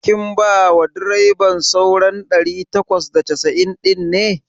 Kin bawa direban sauran ɗari takwas da casa'in ɗin?